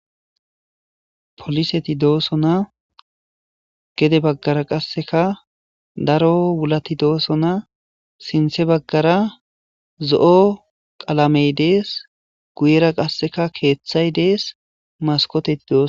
poliseti dooso na gede baggara qasseka daro wulati dooso na sinthe baggara zo7o qalamey dees guyera qasseka keeththay dees maskoteti dooso